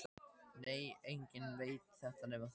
Nei, enginn veit þetta nema þú.